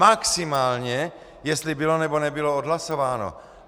Maximálně jestli bylo, nebo nebylo odhlasováno.